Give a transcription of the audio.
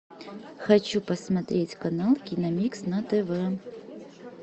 хочу посмотреть канал киномикс на тв